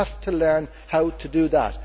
We have to learn how to do that.